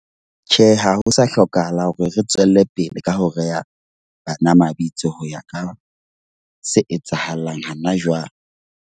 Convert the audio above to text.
Tjhe, ha ho sa hlokahala hore re tswele pele ka ho reya bana mabitso, ho ya ka se etsahalang hana jwang.